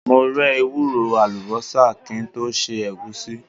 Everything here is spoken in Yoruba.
Mo rẹ́ ewúro, àlùbọ́sà kí n tó se Ẹ̀gúsí